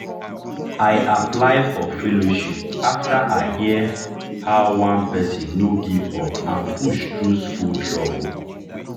i apply for fellowship after i hear how one person no give up and push through school struggle.